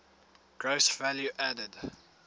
gross value added